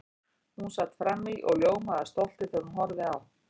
Hún sat frammí og ljómaði af stolti þegar hún horfði á